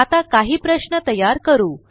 आता काही प्रश्न तयार करू